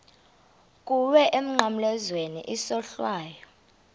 kuwe emnqamlezweni isohlwayo